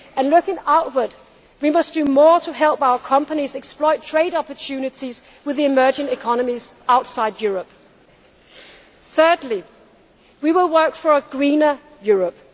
Looking outward, we must do more to help our companies exploit trade opportunities with the emerging economies outside Europe. Thirdly, we will work for a greener Europe.